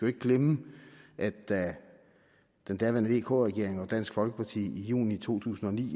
ikke glemme at da den daværende regering vk regeringen og dansk folkeparti i juni to tusind og ni